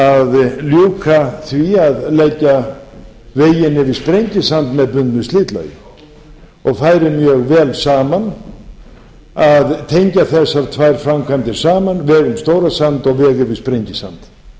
að ljúka því að leggja veginn yfir sprengisand með bundnu slitlagi og færi mjög vel saman að tengja þessar tvær framkvæmdir saman veg um stórasand og veg yfir sprengisand